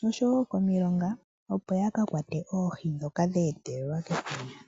nosho wo komilonga opo yakakwate oohi dhoka dha etelelwa kefundja.